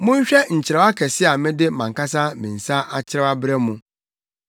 Monhwɛ nkyerɛw akɛse a mede mʼankasa me nsa akyerɛw abrɛ mo.